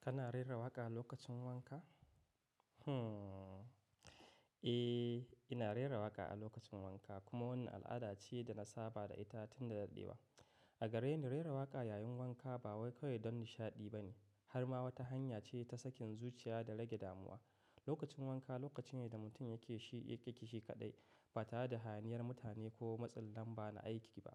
Kana rera waƙa a lokacin wanka? Eh ina rera waƙa a lokacin wanka kuma wannan al'ada ce da na saba da ita tun da dadewa. A gareni rera waƙa yayin wanka ba wai kawai don nishaɗi ba ne, har ma wata hanya ce ta sakin zuciya da rage damuwa. Lokacin wanka lokaci ne da mutum yake shi, yake shi kaɗai ba tare da haniyar mutane ko matsin lamban aiki ba.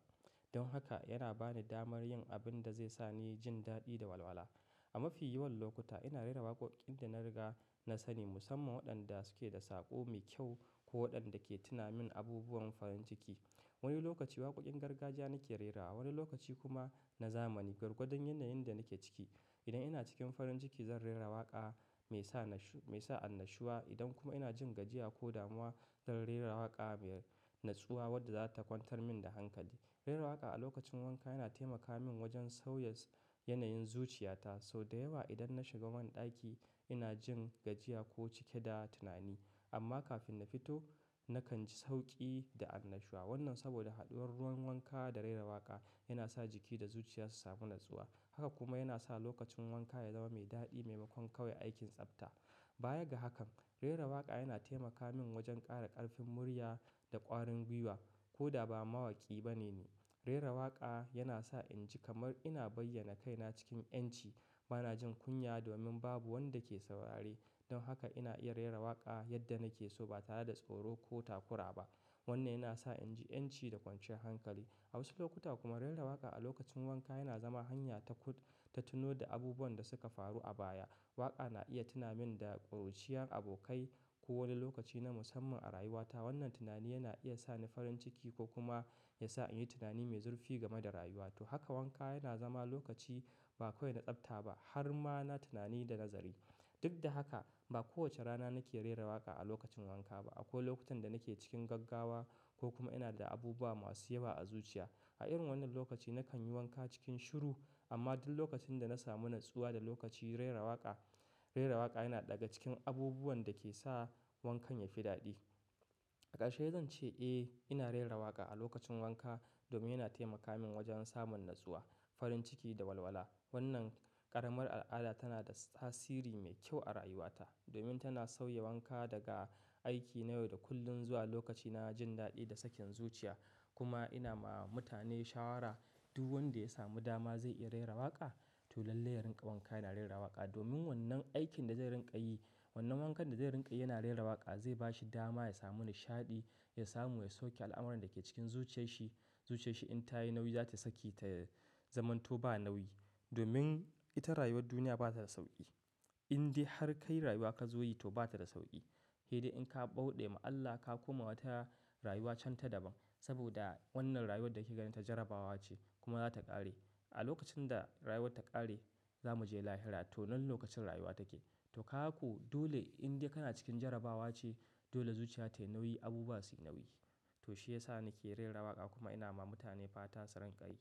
Don haka yana bani damar yin abin da zai sa ni jin daɗi da walwala. A mafi yawan lokuta ina rera waƙoƙin da na riga na sani musamman waɗanda suke da saƙo mai kyau ko waɗanda ke tuna min abubuwan farin ciki. Wani lokaci waƙoƙin gargajiya nake rerawa, wani lokaci kuma na zamani, gwargwadan yanayin da nake ciki. Idan ina cikin farin ciki zan rera waƙa mai sa nashi, mai sa annashuwa. Idan kuma ina jin gajiya ko damuwa zan rera waƙa mai natsuwa wadda za ta kwantar min da hankali. Rera waƙa a lokacin wanka yana taimaka min wajen sauya yanayin zuciyata. Sau da yawa idan na shiga man ɗaki ina jin gajiya ko cike da tunani. Amma kafin na fito nakan ji sauƙi da annashuwa. Wannan saboda haɗuwar ruwan wanka da rera waƙa yana sa jiki da zuciya su samu natsuwa. Haka kuma yana sa lokacin wanka ya zama mai daɗi maimakon kawai aikin tsafta. Baya ga hakan, rera waƙa yana taimaka min wajen ƙara ƙarfin murya da ƙwarin gwiwa ko da ba mawaki bane ni. Rera waƙa yana sa in ji kamar ina bayyana kaina cikin ƴanci. Ba na jin kunya domin babu wanda ke saurare. Don haka ina iya rera waƙa yadda nake so ba tare da tsoro ko takura ba. Wannan yana sa in ji ƴanci da kwanciyar hankali. A wasu lokuta kuma rera waƙa a lokacin wanka yana zama hanya ta kuɗ, ta tuno da abubuwan da suka faru a baya. Waƙa na iya tuna min da ƙuruciyar abokai ko wani lokaci na musamman a rayuwata. Wannan tunani yana iya sa ni farin ciki ko kuma ya sa in yi tunani mai zurfi game da rayuwata. Haka wanka yana zama lokaci ba kawai na tsafta ba har ma na tunani da nazari. Duk da haka ba kowace rana nake rera waƙa a lokacin wanka ba. Akwai lokutan da nake cikin gaggawa ko kuma ina da abu ba masu yawa a zuciya. A irin wannan lokaci nakan yi wanka cikin shiru. Amma duk lokacin da na samu natsuwa da lokaci rera waƙa, rera waƙa yana ɗaga cikin abubuwan da ke sa wankan yafi daɗi. Ƙarshe zan ce eh ina rera waƙa a lokacin wanka domin yana taimaka min wajen samun natsuwa, farin ciki da walwala. Wannan ƙaramar al'ada tana da tasiri mai kyau a rayuwata domin tana sauya wanka daga aiki na yau da kullun zuwa lokaci na jin daɗi da sakin zuciya. Kuma ina ma mutane shawara duk wanda ya samu dama zai iya rera waƙa. To lallai ya rinka wanka yana rera waƙa domin wannan aikin da zai rinƙa yi, wannan wankan da zai rinƙa yana rera waƙa zai bashi dama ya samu nishaɗi, ya samu ya sauke al'amuran da ke cikin zuciyarshi. Zuciyarshi in ta yi nauyi za ta saki ta zamanto ba nauyi. Domin ita rayuwar duniya ba ta da sauƙi. Inde har kai rayuwa ka zo yi to ba ta da sauƙi. Idan ka bauɗe ma Allah ka koma wata rayuwa can ta daban. Saboda wannan rayuwar da kake gani ta jarabawa ce kuma za ta ƙare. A lokacin da rayuwar ta ƙare za mu je lahira to nan lokacin rayuwa take. To haka ku dole inda kana cikin jarabawa ce dole zuciyata yi nauyi, abu ba su nauyi. To shi ya sa nake rera waƙa kuma ina ma mutane fata su rinƙa yi.